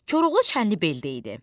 Koroğlu Çənlibeldə idi.